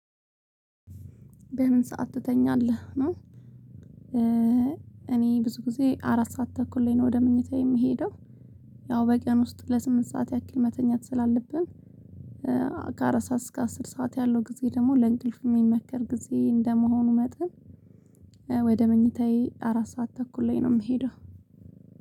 በምን ሰዓት ትተኛለህ ነው? እኔ ብዙ ጊዜ አራት ሰዓት ተኩል ላይ ነው ወደ ምንጭታ የሚሄደው። ያው በቂያን ውስጥ ለስምንት ሰዓት ያክል መተኛት ስላለብን። ከአራት ሰዓት እስከ አስር ሰዓት ያለው ጊዜ ደግሞ ለእንቅልፍ የሚመከር ጊዜ እንደመሆኑ መጠን። ወደ መኝታዬ አራት ሰዓት ተኩል ላይ ነው የምሄደው